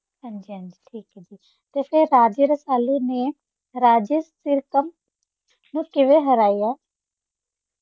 ਹਾਂਜੀ ਹਾਂਜੀ ਠੀਕ ਹੈ ਤੇ ਫਿਰ ਰਾਜੇ ਰਸਾਲੂ ਨੇ ਰਾਜੇ ਸਿਰਕਮ ਨੂੰ ਕਿਵੇਂ ਹਰਾਇਆ?